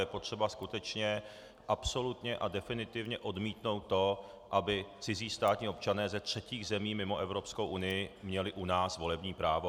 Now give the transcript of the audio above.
Je potřeba skutečně absolutně a definitivně odmítnout to, aby cizí státní občané ze třetích zemí mimo Evropskou unii měli u nás volební právo.